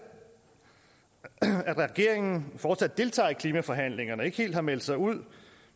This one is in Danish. at regeringen fortsat deltager i klimaforhandlingerne og ikke helt har meldt sig ud